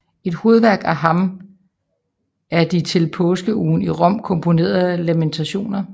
Et hovedværk af ham er de til påskeugen i Rom komponerede Lamentationer